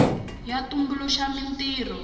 ya tumbuluxa mintirho